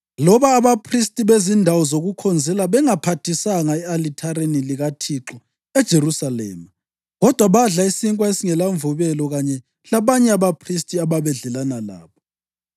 Loba abaphristi bezindawo zokukhonzela bengaphathisanga e-alithareni likaThixo eJerusalema, kodwa badla isinkwa esingelamvubelo kanye labanye abaphristi ababedlelana labo.